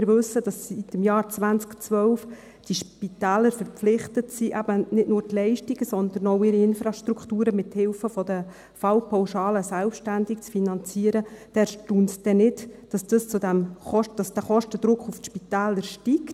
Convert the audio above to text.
Wenn wir wissen, dass die Spitäler seit dem Jahr 2012 verpflichtet sind, eben nicht nur die Leistungen, sondern auch ihre Infrastrukturen mithilfe der Fallpauschalen selbstständig zu finanzieren, erstaunt es nicht, dass der Kostendruck auf die Spitäler steigt.